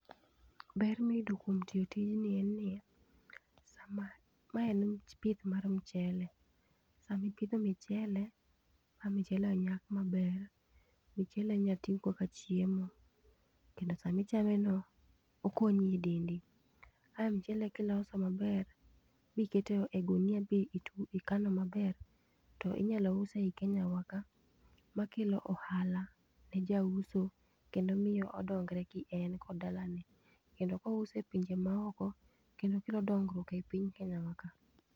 Ber miyudo kuom tiyo tijni en niya, sama, mae en pith mar mchele, sama ipidho michele, ka michele onyak maber, mchele inya tigo kaka chiemo kendo sama ichame no okonyi e dendi. Ka mchele kiloso maber miketo e gunia ma ikano maber to inyalo use e Kenya wa ka makelo ohala ne jauso kendo miyo odongre kien kod dalane. Kendo kouse e pinje maoko kendo kelo dongruok e piny Kenya wa ka